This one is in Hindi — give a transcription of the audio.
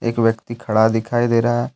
एक व्यक्ति खड़ा दिखाई दे रहा है।